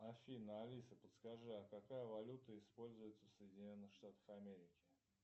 афина алиса подскажи а какая валюта используется в соединенных штатах америки